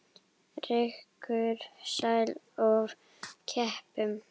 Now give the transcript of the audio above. Rýkur sær of keipum.